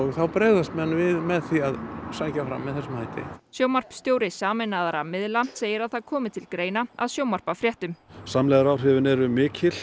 þá bregðast menn við með því að sækja fram með þessum hætti sjónvarpsstjóri sameinaðra miðla segir að það komi til greina að sjónvarpa fréttum samlegðaráhrifin eru mikil